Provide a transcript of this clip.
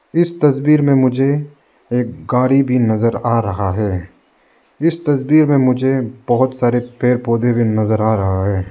इस तस्वीर में मुझे एक गाड़ी भी नजर आ रहा है इस तस्वीर में मुझे बहोत सारे पेड़ पौधे भी नजर आ रहा है।